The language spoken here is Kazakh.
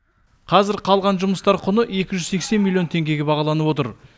қазір қалған жұмыстар құны екі жүз сексен миллион теңгеге бағаланып отыр